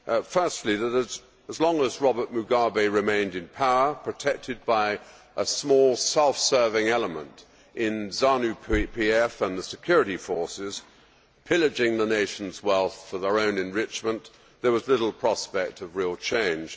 Firstly, that as long as Robert Mugabe remained in power, protected by a small self serving element in Zanu PF and the security forces, pillaging the nation's wealth for their own enrichment, there was little prospect of real change.